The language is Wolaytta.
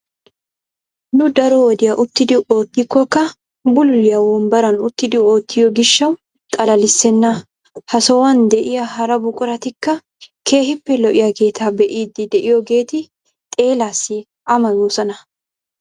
Nunu daro wodiyaa uttidi oottikokka bululiyaa wombbaran uttidi oottiyoo giishshawu xalalisenna. Ha sohuwaan de'iyaa hara buquratikka keehippe lo"iyaageeta be'iidi de'iyoogeeti xeelaasi amoyosoona.